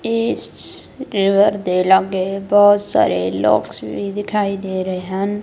ਇਸ ਰੀਵਰ ਦੇ ਲਾਗੇ ਬਹੁਤ ਸਾਰੇ ਲੋਗਸ ਵੀ ਦਿਖਾਈ ਦੇ ਰਹੇ ਹਨ।